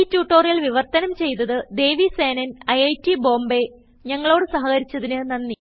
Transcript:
ഈ ട്യൂട്ടോറിയൽ വിവർത്തനം ചെയ്തത് ദേവി സേനൻIIT Bombayഞങ്ങളോട് സഹകരിച്ചതിന് നന്ദി